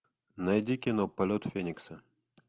найди кино полет феникса